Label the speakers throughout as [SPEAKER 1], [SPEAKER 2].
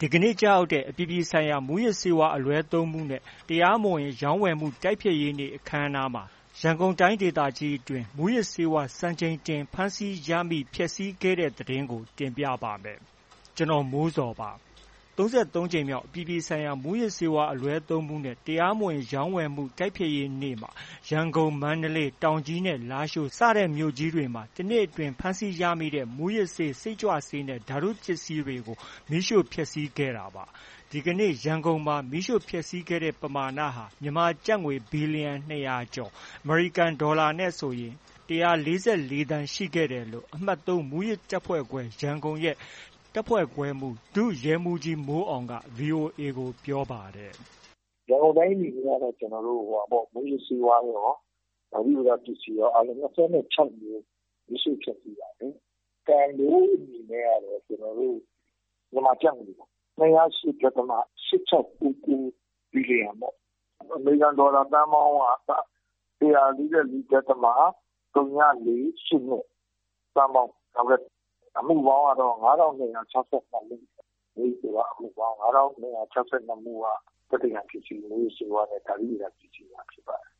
[SPEAKER 1] ဒီကနေ့ ကျရောက်တဲ့ အပြည်ပြည်ဆိုင်ရာ မူးယစ်ဆေးဝါးအလွဲသုံးမှုနဲ့ တရားမဝင် တိုက်ဖျက်နေ့အခမ်းအနားမှာ ရန်ကုန်တိုင်းအတွင်း မူးယစ်ဆေးဝါး စံချိန်တင်ဖမ်းဆီးရမိ၊ ဖျက်ဆီးခဲ့တဲ့သတင်းကို ဗွီအိုအေမြန်မာပိုင်းသတင်းထောက် ကိုမိုးဇော်က တင်ပြပေးပါမယ်။ ၃၂ နှစ်မြောက် အပြည်ပြည်ဆိုင်ရာ မူးယစ်ဆေးဝါးအလွဲသုံးမှုနဲ့ တရားမဝင် တိုက်ဖျက်နေ့မှာ ရန်ကုန်၊ မန္တလေး၊ တောင်ကြီးနဲ့ လားရှိုး စတဲ့မြို့ကြီးတွေမှာ တစ်နှစ်အတွင်း ဖမ်းဆီးရမိတဲ့ မူူးယစ်ဆေး၊ စိတ်ကြွဆေးနဲ့ ဓါတုပစ္စည်းတွေကို မီးရှို့ဖျက်ဆီးခဲ့တာပါ။ ဒီကနေ့ ရန်ကုန်မှာ မီးရှို့ဖျက်ဆီးတဲ့ ပမာဏဟာ မြန်မာကျပ်ငွေ ဘီလီယံ ၂၀၀ ကျော်၊ အမေရိကန်ဒေါ်လာနဲ့ဆို ၁၄၄ သန်းကျော် ရှိခဲ့တယ်လို့ အမှတ် ၃ မူးယစ်တပ်ဖွဲ့ခွဲ၊ ရန်ကုန်ရဲ့ တပ်ဖွဲ့ခွဲမှူး ဒုရဲမှူးကြီး မိုးအောင်က VOA ကို ပြောပါတယ်။
[SPEAKER 2] “ရန်ကုန်တိုင်းအနေနဲ့ကတော့ ကျနော်တို့ မူးယစ်ဆေးဝါးရော၊ ဓါတုပစ္စည်းရော အားလုံး ၂၀ နဲ့ ၆ မျိုး၊ မီးရှို့ဖျက်ဆီးတာ။ တန်ဖိုးအနေနဲ့ကတော့ မြန်မာကျပ်ငွေ ၂၀၈ ဒသမ ၈၆၉၉ ဘီလီယံပေါ့။ အမေရိကန်ဒေါ်လာ သန်းပေါင်းက ၁၄၄ ဒသမ ဝ,၄၈၂ သန်းပေါင်းပေါ့။ အမှုပေါင်းကတော့ ၅,၂၆၂ မှု၊ မူးယစ်ဆေးဝါးအမှုပေါင်း ၅,၂၆၂ မှုက သက်သေခံပစ္စည်း၊ မူးယစ်ဆေးဝါးနဲ့ ဓါတုဗေဒ ပစ္စည်းတွေ ဖြစ်ပါတယ်။
[SPEAKER 1] ”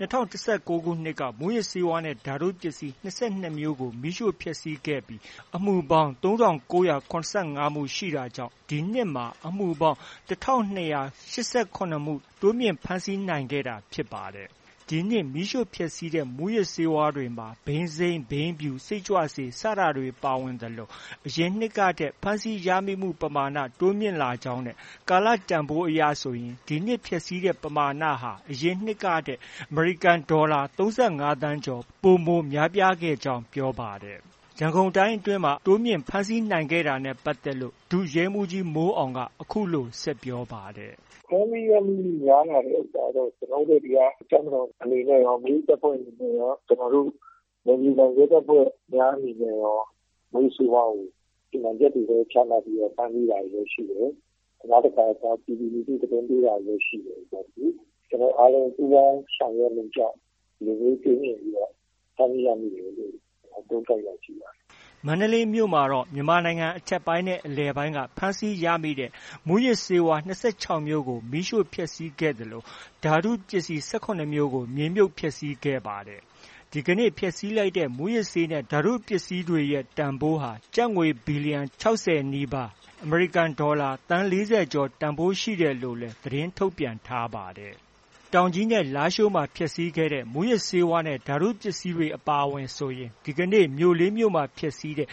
[SPEAKER 1] ၂၀၁၉ ခုနှစ်က မူးယစ်ဆေးဝါးနဲ့ ဓါတုပစ္စည်း ၂၂ မျိုးကို မီးရှို့ဖျက်ဆီးခဲ့ပြီး အမှုပေါင်း ၃,၉၇၅ မှု ရှိတာကြောင့် ဒီနှစ်မှာ အမှုပေါင်း ၁,၂၈၇ မှု တိုးမြင့်ဖမ်းဆီးနိုင်ခဲ့တာဖြစ်ပါတယ်။ ဒီနှစ် မီးရှို့ဖျက်ဆီးတဲ့ မူးယစ်ဆေးဝါးတွေမှာ ဘိန်းစိမ်း၊ ဘိန်းဖြူ၊ စိတ်ကြွဆေး စတာတွေ ပါဝင်သလို အရင်နှစ်ကထက် ဖမ်းဆီးရမိမှု ပမာဏ တိုးမြင့်လာကြောင်းနဲ့ ကာလတန်ဖိုးအရဆိုရင် ဒီနှစ်ဖျက်ဆီးတဲ့ ပမာဏဟာ အရင်နှစ်ကထက် အမေရိကန်ဒေါ်လာ ၃၅ သန်းကျော် ပိုမိုများပြားခဲ့ကြောင်း ပြောပါတယ်။ ရန်ကုန်တိုင်းအတွင်းမှာ အခုလို တိုးမြင့် ဖမ်းဆီးနိုင်ခဲ့တာနဲ့ ပတ်သက်လို့ ဒုရဲမှူးကြီး မိုးအောင်က အခုလို ဆက်ပြောပါတယ်။
[SPEAKER 2] “ဖမ်းဆီးရမိမှုများလာတဲ့ ဥစ္စာတော့ ကျနော်တို့ ဒီက တပ်မတော်အနေနဲ့ရော၊ မိမိတပ်ဖွဲ့အနေနဲ့ရော၊ ကျနော်တို့ နယ်မြေခံ ရဲတပ်ဖွဲ့များအနေနဲ့ရော မူးယစ်ဆေးဝါးကို စီမံချက်တွေ ချမှတ်ပြီး ဖမ်းဆီးတာတွေလည်း ရှိတယ်။ နောက်တခါ ပြည်သူလူထု သတင်းပေးတာတွေလည်း ရှိတယ်။ ကျနော်တို့အားလုံး ပူးပေါင်းဆောင်ရွက်မှုကြောင့် ဒီလိုမျိုး တိုးမြင့်ပြီးတော့ ဖမ်းဆီးရမိတယ်လို့ သုံးသပ်ရရှိပါတယ်။
[SPEAKER 1] ” မန္တလေးမြို့မှာတော့ မြန်မာနိုင်ငံအထက်ပိုင်းနဲ့ အလယ်ပိုင်းက ဖမ်းဆီးရမိတဲ့ မူးယစ်ဆေးဝါး၂၆ မျိုးကို မီးရှို့ဖျက်ဆီးခဲ့သလို ဓါတုပစ္စည်း ၁၇ မျိုးကို မြေမြှုပ်ဖျက်ဆီးခဲ့ပါတယ်။ ဒီဖျက်ဆီးလိုက်တဲ့ မူးယစ်ဆေးနဲ့ ဓါတုပစ္စည်းတွေရဲ့ ပမာဏဟာ ကျပ်ငွေ ဘီလီယံ ၆၀ နီးပါး၊ အမေရိကန်ဒေါ်လာငွေ သန်း ၄၀ ကျော်ဖိုးရှိတယ်လို့လည်း သတင်းထုတ်ပြန်ထားပါတယ်။ တောင်ကြီးနဲ့ လားရှိုးမှာ ဖျက်ဆီးခဲ့တဲ့ မူးယစ်ဆေးနဲ့ ဓါတုပစ္စည်းတွေအပါအဝင်ဆိုရင်ဒီကနေ့ မြို့ လေး မြို့မှာ ဖျက်ဆီးတဲ့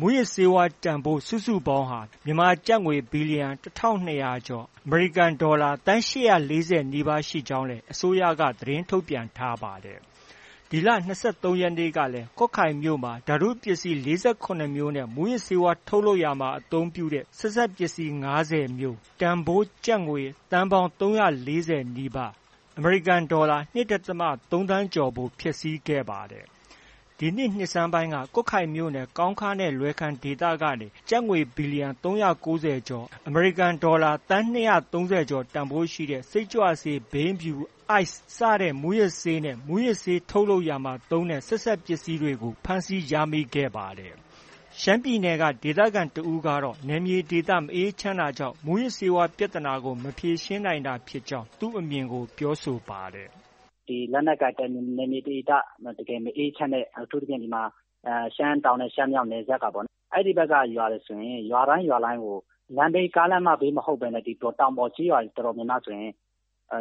[SPEAKER 1] မူးယစ်ဆေးဝါးတန်ဖိုး စုစုပေါင်းဟာ မြန်မာငွေ ဘီလီယံ ၁,၂၀၀ ကျော်၊ အမေရိကန်ဒေါ်လာ သန်း ၈၄၀ နီးပါးရှိကြောင်းလည်း အစိုးရက သတင်းထုတ်ပြန်ထားပါတယ်။ ဒီလ ၂၃ရက်နေ့ကလည်း ကွတ်ခိုင်မြို့မှာ ဓာတုပစ္စည်း ၄၇ မျိုးနဲ့ မူးယစ်ဆေးဝါး ထုတ်လုပ်ရာတွင်အသုံးပြုသည့် ဆက်စပ်ပစ္စည်း ၅ဝ မျိုး တန်ဖိုး ကျပ်ငွေ သန်းပေါင်း ၃၄၀ နီးပါး၊ (အမေရိကန်ဒေါ်လာ ၂.၃ သန်းကျော်) ဖျက်ဆီးခဲ့ပါတယ်။ ဒီနှစ် နှစ်ဆန်းပိုင်းက ကွတ်ခိုင်မြို့နယ် ကောင်းခါးနဲ့ လွယ်ခန်ဒေသကနေ ကျပ်ငွေ ဘီလီယံ ၃၉၀ ကျော်၊ အမေရိကန်ဒေါ်လာ သန်း ၂၃၀ ကျော်ဖိုးရှိတဲ့ စိတ်ကြွဆေး၊ ဘိန်းဖြူ၊ Ice စတဲ့ မူးယစ်ဆေးနဲ့ မူးယစ်ဆေး ထုတ်လုပ်ရာမှာ သုံးတဲ့ ဆက်စပ်ပစ္စည်းတွေ ဖမ်းဆီးရမိခဲ့တာဖြစ်ပါတယ်။ ရှမ်းပြည်နယ်က ဒေသခံတစ်ဦးကတော့ နယ်မြေဒေသ မအေးချမ်းတာကြောင့် မူးယစ်ဆေးဝါးပြဿနာကို မဖြေရှင်းနိုင်တာဖြစ်ကြောင်း သူ့အမြင်ကို ပြောဆိုထားပါတယ်။
[SPEAKER 3] “လက်နက်ကိုင်နယ်မြေဒေသ တကယ်မအေးချမ်းတဲ့ အထူးသဖြင့် ရှမ်းတောင်နဲ့ ရှမ်းမြောက် နယ်စပ်က အဲဒီဘက်က ရွာတွေ ဆိုရင် ရွာတိုင်း၊ ရွာတိုင်းကို ကားလမ်းမဘေးမဟုတ်ဘဲနဲ့ တောင်ပေါ်ကျေးရွာတွေဆိုရင်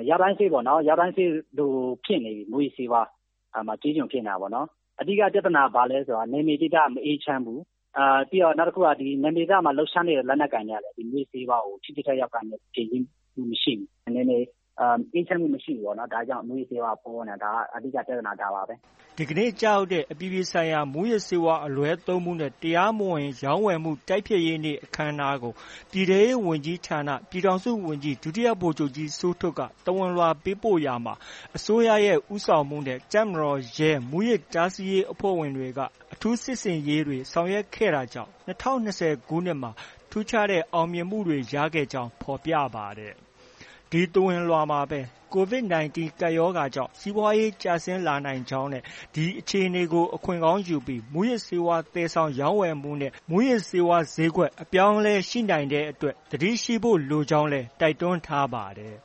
[SPEAKER 3] ရွာတိုင်းစေ့ပေါ့နော်။ ရွာတိုင်းစေ့လိုဖြစ်နေပြီ မူးယစ်ဆေးဝါးကျေးကျွန်ဖြစ်နေတာ၊ အဓိက ပြဿနာက ဘာလဲဆိုရင် နယ်မြေဒေသ မအေးချမ်းဘူး။ နောက် နယ်မြေဒေသမှာ လှုပ်ရှားနေတဲ့ လက်နက်ကိုင်တွေကလည်း မူးယစ်ဆေးဝါးကို ထိထိရောက်ရောက် ဖြေရှင်းမှု မရှိဘူး။ နယ်မြေအေးချမ်းမှု မရှိဘူးပေါ့နော်။ ဒါကြောင့် မူးယစ်ဆေးဝါးက ပေါနေတာ။ အဓိက ပြဿနာ ဒါပါပဲ။”
[SPEAKER 1] ဒီကနေ့ ကျရောက်တဲ့ အပြည်ပြည်ဆိုင်ရာ မူးယစ်ဆေးဝါးအလွဲသုံးမှုနဲ့ တရားမဝင် တိုက်ဖျက်နေ့အခမ်းအနားကို ပြည်ထဲရေးဝန်ကြီးဌာန ပြည်ထောင်စုဝန်ကြီး ဒုတိယဗိုလ်ချုပ်ကြီး စိုးထွဋ်က သဝဏ်လွှာပေးပို့ခဲ့ရာမှာ အစိုးရဦးဆောင်မှုနဲ့ တပ်မတော်၊ ရဲ၊ မူးယစ်တားဆီးရေးအဖွဲ့တွေ က အထူးစစ်ဆင်ရေးတွေ ဆောင်ရွက်ခဲ့တာကြောင့် ၂၀၂၀ခုနှစ်မှာ ထူးခြားတဲ့ အောင်မြင်မှုတွေ ရရှိခဲ့ကြောင်း ဖော်ပြခဲ့ပါတယ်။ အဲဒီသဝဏ်လွှာမှာပဲ COVID 19 ကပ်ရောဂါကြောင့် စီးပွားရေး ကျဆင်းလာနိုင်ကြောင်းနဲ့ အဲဒီအခြေအနေကို အခွင့်ကောင်းယူပြီး မူးယစ်ဆေးဝါး သယ်ဆောင်ရောင်းဝယ်မှုနဲ့ မူးယစ်ဆေးဝါးဈေးကွက် အပြောင်းအလဲရှိနိုင်တဲ့အတွက် သတိရှိဖို့လိုကြောင်းလည်း တိုက်တွန်းထားပါတယ်